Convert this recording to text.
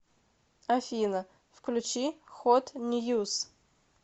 афина включи хот ньюз